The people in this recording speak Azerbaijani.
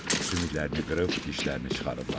Sümüklərini qırıb, dişlərini çıxarıblar.